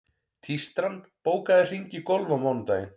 Tístran, bókaðu hring í golf á mánudaginn.